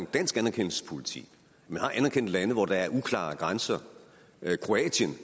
dansk anerkendelsespolitik man har anerkendt lande hvor der er uklare grænser